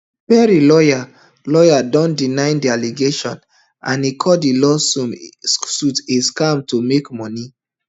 perry lawyer lawyer don deny di allegations and e call di lawsuit a scam to make money